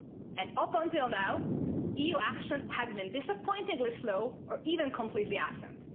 And, up until now, EU action has been disappointingly slow or even completely absent.